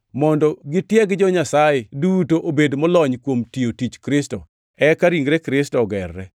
mondo gitieg jo-Nyasaye duto obed molony kuom tiyo tich Kristo, eka ringre Kristo ogerre,